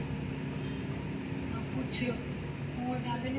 ਨਾ ਕੁਛ ਸਕੂਲ ਜਾਂਦੇ ਨੇ,